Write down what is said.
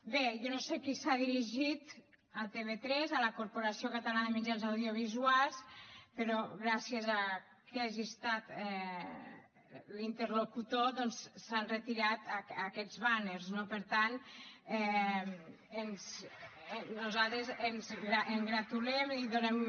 bé jo no sé qui s’ha dirigit a tv3 a la corporació catalana de mitjans audiovisuals però gràcies a qui hagi estat l’interlocutor doncs s’han retirat aquests bàners no per tant nosaltres ens en congratulem i donem